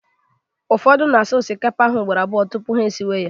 ụfọdụ na asa osikapa ha ugboro abụọ tupu ha esiwe ya